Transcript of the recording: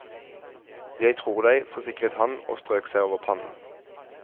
Jeg tror deg, forsikret han og strøk seg over pannen.